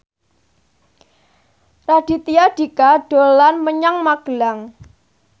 Raditya Dika dolan menyang Magelang